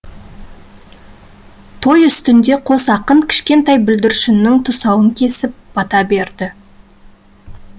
той үстінде қос ақын кішкентай бүлдіршіннің тұсауын кесіп бата берді